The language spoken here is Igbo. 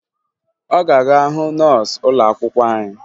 Ọ ga-aga hụ nọọsụ ụlọakwụkwọ anyị